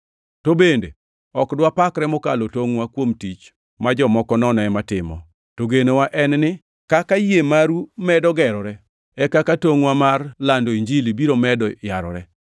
To bende, ok dwapakre mokalo tongʼwa kuom tich ma jomoko nono ema timo. To genowa en ni, kaka yie maru medo gerore, e kaka tongʼwa mar lando Injili biro medo yarore,